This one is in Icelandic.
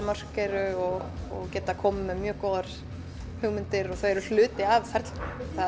mörk eru og geta komið með góðar hugmyndir og eru hluti af ferlinu